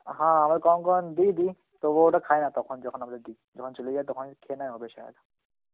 হ্যাঁ আমরা কখন কখন দি দি, তবু ওরা খায় না তখন যখন আমরা দি, যখন চলে যাই তখনই খেয়ে নেয় হবে Hindi.